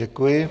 Děkuji.